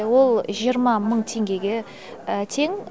ол жиырма мың теңгеге тең